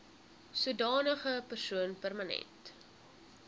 sodanige persoon permanent